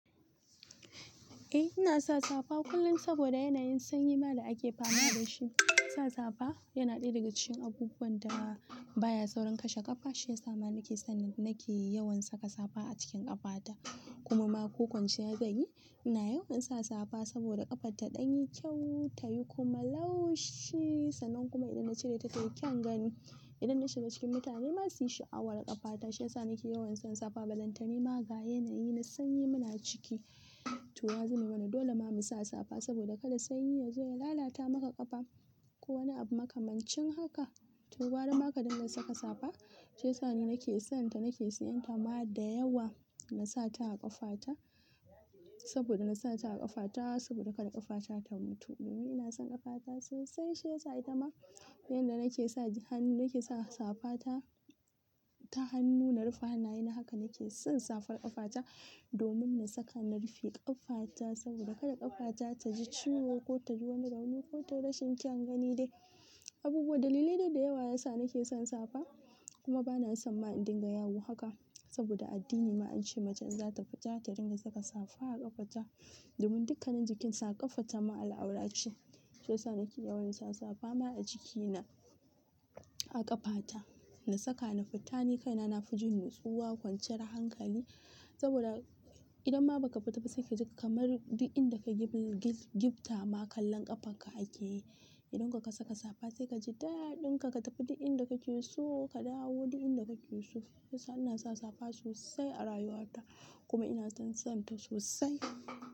Eh ina sa safa kullum saboda yanayin sanyi ma da ake fama da shi. Sa safa yana ɗaya daga cikin abubuwan da baya saurin kashe ƙafa, shi ya sa ma nake son nake yawan saka safa a cikin ƙafata. Kuma ma ko kwanciya zan yi, ina yawan sa safa saboda ƙafata ta ɗan yi kyau, ta yi kuma laushi. Sannan kuma idan na cire ta tai kyaun gani. Idan na shiga cikin mutane masu yi sha'awar ƙafata shi ya sa nake yawan sa safa. Ba lantami ma ga yanayi na sanyi muna ciki. To ya zame mana dole ma mu sa safa saboda kada sanyi ya zo ya lalata maka ƙafa ko wani abu makamancin haka. To gwara ma kadin ga saka safa shiya sa ni nake son ta, nake siyan ta ma da yawa na sa ta a ƙafata saboda na sa ta a ƙafata saboda kada ƙafata ta mutu. Ni ina son ƙafata sosai shi ya sa ita ma yanda nake sa hannu nake sa safa ta, ta hannu na rufe hannaye. Haka nake son safar ƙafata domin na saka na rufe ƙafata saboda kada ƙafata ta ji ciwo ko ta ji wani rauni ko tai rashin kyaun gani dai. Abubuwa dalilai da da yawa yasa nake son safa kuma bana son ma in dinga yawo haka saboda addini ma an ce macen za ta fita ta dinga saka safa a ƙafata domin dukkanin jikinsa ƙafata ma al'aurar ce. Shi ya sa nake yawan sa safa ma a jikina, a ƙafata na saka na fita. Ni kaina na fi jin nutsuwa, kwanciyar hankali saboda idan ma ba ka fita ba sai ka ji kamar duk inda ka gifta ma kallon ƙafanka ake yi. Zan da ka saka safa sai ka ji daɗinka ka tafi duk inda kake so ka dawo duk inda kake so. Gaskiya ina sa safa sosai a rayuwata kuma ina son son ta sosai.